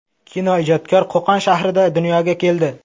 Kinoijodkor Qo‘qon shahrida dunyoga keldi.